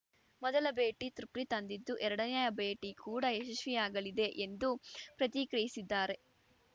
ಮೊದಲ ಭೇಟಿ ತೃಪ್ತಿ ತಂದಿದ್ದು ಎರಡನೇ ಭೇಟಿ ಕೂಡ ಯಶಸ್ವಿಯಾಗಲಿದೆ ಎಂದು ಪ್ರತಿಕ್ರಿಯಿಸಿದ್ದಾರೆ